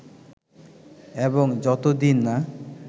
এবং যতদিন না